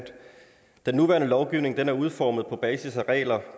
den nuværende lovgivning er udformet på basis af regler